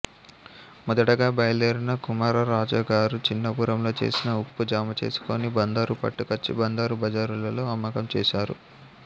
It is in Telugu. మొదటగా బయలుదేరిన కుమార రాజాగారు చిన్నపురంలో చేసిన ఉప్పు జమచేసుకుని బందరు పట్టుకుచ్చి బందరు బజారులలో అమ్మకం చేశారు